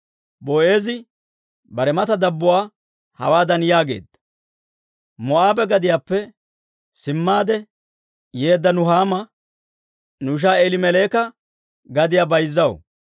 Boo'eezi bare mata dabbuwaa hawaadan yaageedda; «Moo'aabe gadiyaappe simmaade yeedda Nuhaama, nu ishaa Eelimeleeka gadiyaa bayzzaw.